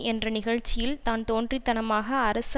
என்ற நிகழ்ச்சியில் தான்தோன்றித்தனமாக அரசு